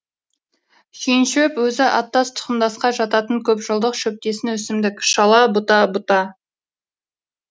шүйіншөп өзі аттас тұқымдасқа жататын көп жылдық шөптесін өсімдік шала бұта бұта